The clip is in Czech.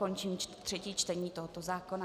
Končím třetí čtení tohoto zákona.